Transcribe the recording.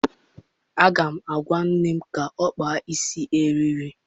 Aga m agwa nne m ka ọ kpaa isi eriri